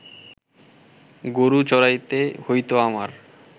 গরু চড়াইতে হইত আমার